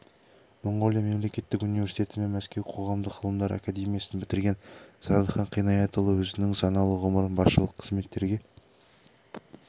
моңғолия мемлекеттік университеті мен мәскеу қоғамдық ғылымдар академиясын бітірген зардыхан қинаятұлы өзінің саналы ғұмырын басшылық қызметтерге